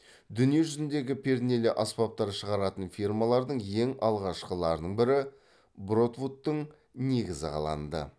дүние жүзіндегі пернелі аспаптар шығаратын фирмалардың ең алғашқыларының бірі бродвудтың негізі қаланды